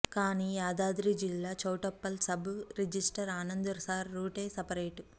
కానీ యాదాద్రి జిల్లా Choutuppal sub registrar Anand sir రూటే సపరేటు